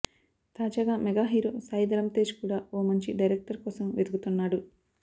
తాజాగా mega hero Sai Dharam Tej కూడా ఓ మంచి డైరెక్టర్ కోసం వెతుకుతున్నాడు